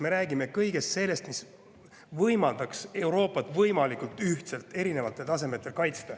Me räägime kõigest sellest, mis võimaldaks Euroopat võimalikult ühtselt erinevatel tasemetel kaitsta.